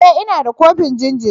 E! Ina da kofin jariri.